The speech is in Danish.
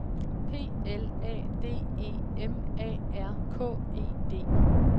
P L A D E M A R K E D